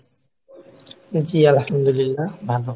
জি, আলহামদুলিল্লাহ ভালো